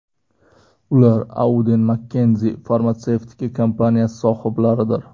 Ular Auden Mckenzie farmatsevtika kompaniyasi sohiblaridir.